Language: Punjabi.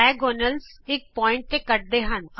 ਵਿਕਰਣ ਇਕ ਬਿੰਦੂ ਤੇ ਕੱਟਦੇ ਹਨ